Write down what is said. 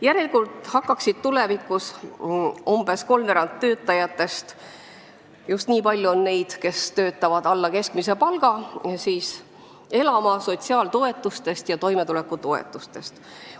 Järelikult hakkaks tulevikus umbes kolmveerand töötajatest – just nii palju on neid, kes saavad alla keskmise palga – elama sotsiaaltoetustest ja toimetulekutoetustest.